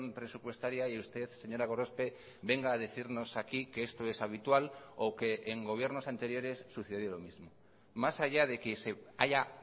presupuestaria y usted señora gorospe venga a decirnos aquí que esto es habitual o que en gobiernos anteriores sucedió lo mismo más allá de que se haya